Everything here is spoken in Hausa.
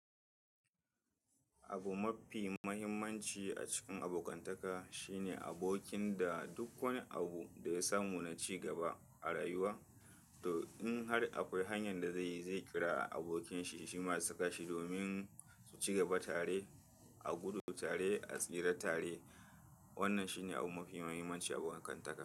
Abu mafi muhimmanci a cikin abokantaka shine abokin da duk wani abu da ya samu na cigaba a rayuwa. To in har akwai hanyar da zai kira abokinshi, shi ma zai saka shi domin su cigaba tare, a gudu tare, a tsira tare. Wannan shi ne abu mafi muhimmanci a abokantaka.